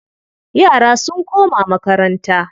Yara sun koma makaranta.